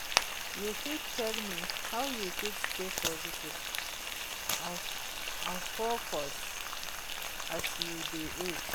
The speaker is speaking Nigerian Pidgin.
you fit tell me how you fit stay positive and focused as you dey age?